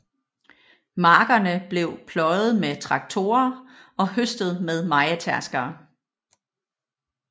Markerne blev pløjet med traktorer og høstet med mejetærskere